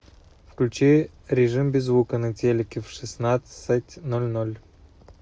включи режим без звука на телике в шестнадцать ноль ноль